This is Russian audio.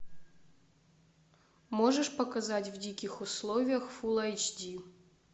можешь показать в диких условиях фулл айч ди